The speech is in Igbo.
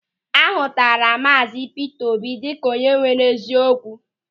A hụtara Maazi Pita Obi dịka onye nwere eziokwu.